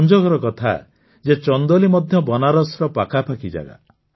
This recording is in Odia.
ସଂଯୋଗର କଥା ଯେ ଚନ୍ଦୋଲି ମଧ୍ୟ ବନାରସର ପାଖାପାଖି ଜାଗା